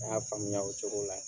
Ne y'a faamuya o cogo la.